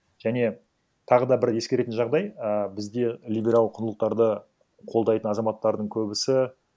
және тағы да бір ескеретін жағдай і бізде либерал құндылықтарды қолдайтын азаматтардың көбісі